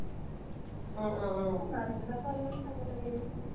উম উম উম এ মাক দেউতাকেও অলপ চাব লাগে দেছোন